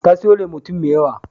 Ta sayo Limotin mai yawa.